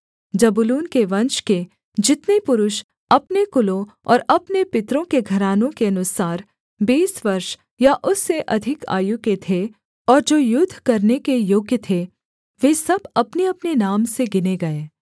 जबूलून के वंश के जितने पुरुष अपने कुलों और अपने पितरों के घरानों के अनुसार बीस वर्ष या उससे अधिक आयु के थे और जो युद्ध करने के योग्य थे वे सब अपनेअपने नाम से गिने गए